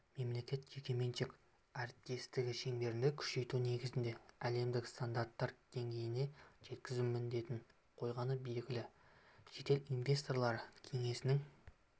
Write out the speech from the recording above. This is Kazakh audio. мемлекет-жекеменшік әріптестігі шеңберінде күшейту негізінде әлемдік стандарттар деңгейіне жеткізу міндетін қойғаны белгілі шетел инвесторлары кеңесінің